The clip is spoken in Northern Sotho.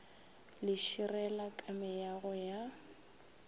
le širela ka meago ya